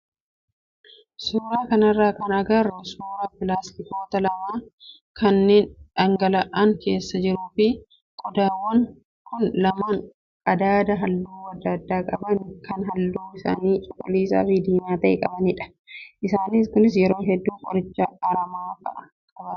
Suuraa kanarraa kan agarru suuraa pilaastikoota lama kanneen dhangala'aan keessa jiruu fi qodaawwan kun lamaan qadaada halluu adda addaa qaban kan halluun isaanii cuquliisaa fi diimaa ta'e qabanidha. Isaan kunis yeroo hedduu qoricha aramaa fa'aa qabatu.